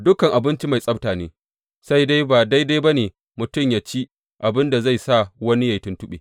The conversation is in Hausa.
Dukan abinci mai tsabta ne, sai dai ba daidai ba ne mutum yă ci abin da zai sa wani yă yi tuntuɓe.